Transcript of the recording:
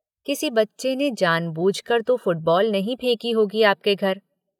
किसी बच्चे ने जान बूझकर तो फुटबॉल नहीं फेंकी होगी आपके घर।